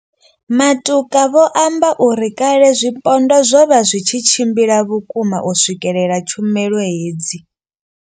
Matuka vho amba uri kale zwipondwa zwo vha zwi tshi tshimbila vhukuma u swikelela tshumelo hedzi.